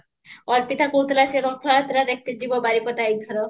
ଅର୍ପିତା କହୁଥିଲା ସେ ରଥ ଯାତ୍ରା ଦେଖତେ ଜୀବ ବାରିପଦା ଏଇଥର